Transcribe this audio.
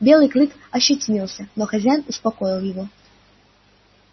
белый клык ощетинился но хозяин успокоил его